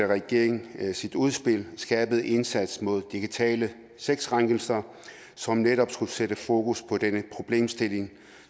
regeringen sit udspil til en skærpet indsats mod digitale sexkrænkelser som netop skulle sætte fokus på denne problemstilling